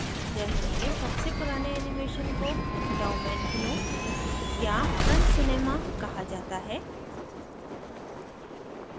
germany में सबसे पुराने animations को डाऊमेनकीनो daumenkio या front cinema front cinema कहा जाता है